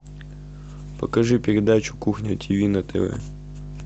покажи передачу кухня тв на тв